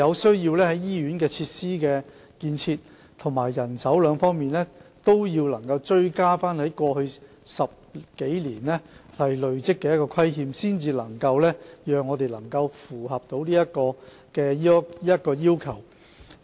在醫院設施建設及人手兩方面，我們有需要追回過去10多年累積的不足，屆時我們才能符合這個要求。